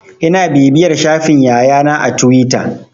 Ina bibiyan shafin Yaya na a tuwita.